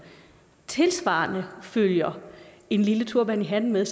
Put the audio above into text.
tilsvarende følger en lille turban med